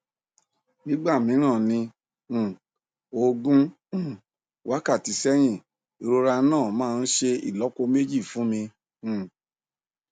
nígbà mìíràn ní um ogún um wákàtí sẹyìn ìrora náà máa ń ṣe ìlọpo méjì fún mi um